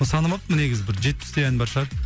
санамаппын негізі бір жетпістей ән бар шығар